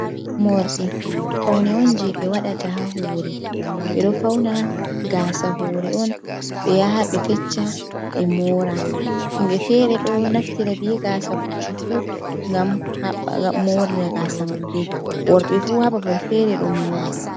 Morɗi faune on je ɓe waɗata ha hore ɓeɗo fauna gasa hore on ɓe yaha ɓe fecca ɓe mora himɓe fere ɗo naftira be gasa puccu fu ngam mora gasa maɓɓe worɓe fu ha babal fere ɗo mora.